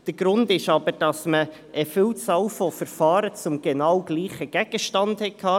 Der Grund besteht darin, dass man eine Vielzahl von Verfahren zum genau gleichen Gegenstand hatte.